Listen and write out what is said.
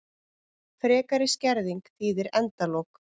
Frekari skerðing þýðir endalok